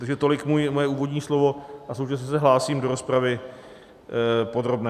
Takže tolik moje úvodní slovo a současně se hlásím do rozpravy podrobné.